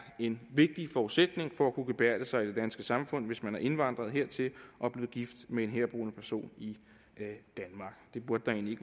en vigtig forudsætning for at kunne gebærde sig i det danske samfund hvis man er indvandret hertil og er blevet gift med en herboende person det burde der egentlig